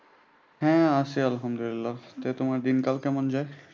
হ্যাঁ আছি আলহামদুলিল্লাহ। তো তোমার দিনকাল কেমন যায়?